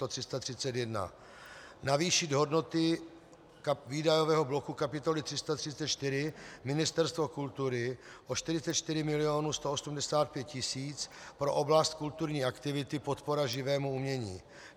Navýšit hodnoty výdajového bloku kapitoly 334 Ministerstvo kultury o 44,185 mil. pro oblast kulturní aktivity, podpora živému umění.